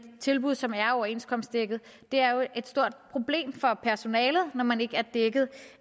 tilbud som er overenskomstdækket det er jo et stort problem for personalet når man ikke er dækket